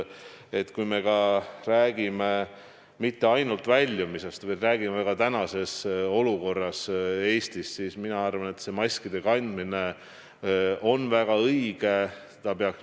Kui me räägime mitte ainult väljumisest, vaid ka praegusest olukorrast Eestis, siis mina arvan, et maskide kandmine on väga õige.